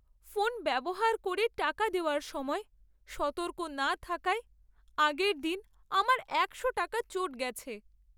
Phone ব্যবহার করে টাকা দেওয়ার সময় সতর্ক না থাকায় আগের দিন আমার একশো টাকা চোট গেছে।